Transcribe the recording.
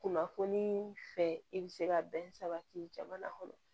Kunnafoniii fɛ i bɛ se ka bɛn sabati jamana kɔnɔ